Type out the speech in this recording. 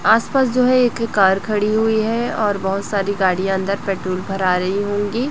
आस पास जो है एक कार खड़ी हुई है और बहुत सारी गाड़ियां अंदर पेट्रोल भरा रही होंगी।